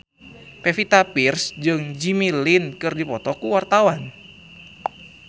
Pevita Pearce jeung Jimmy Lin keur dipoto ku wartawan